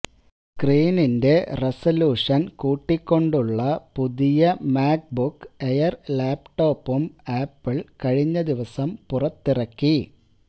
സ്ക്രീനിന്റെ resolution കൂട്ടിക്കൊണ്ടുള്ള പുതിയ MacBook Air ലാപ്ടോപ്പും ആപ്പിൾ കഴിഞ്ഞ ദിവസം പുറത്തിറക്കി